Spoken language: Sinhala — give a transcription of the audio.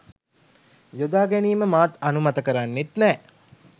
යොදාගැනීම මාත් අනුමත කරන්නෙත් නෑ.